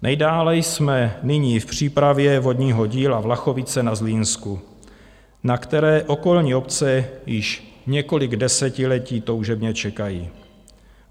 Nejdále jsme nyní v přípravě vodního díla Vlachovice na Zlínsku, na které okolní obce již několik desetiletí toužebně čekají.